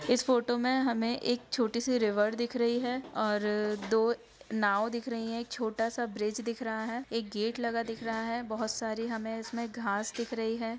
इस फोटो में हमे एक छोटी रिवर दिख रही है और दो नाँव दिख रही है एक छोटा सा ब्रिज दिख रहा है एक गेट लगा दिख रहा है बहुत सारी इसमें हमें घास दिख रही है।